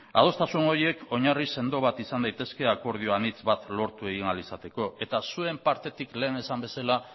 adostasun horiek oinarri sendo bat izan daitezke akordio anitz bat lortu ahal izateko eta zuen partetik lehen esan bezala